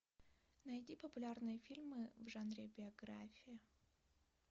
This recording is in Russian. найди популярные фильмы в жанре биография